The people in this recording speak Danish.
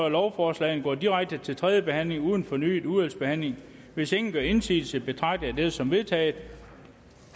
lovforslagene går direkte til tredje behandling uden fornyet udvalgsbehandling hvis ingen gør indsigelse betragter jeg dette som vedtaget